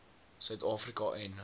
suid afrika en